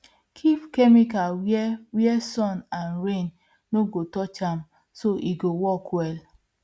keep chemical where where sun and rain no go touch am so e go work well